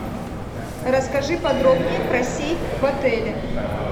расскажи подробнее про сейф в отеле